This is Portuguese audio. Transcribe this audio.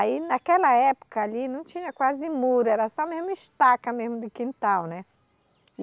Aí naquela época ali não tinha quase muro, era só mesma estaca mesmo de quintal, né?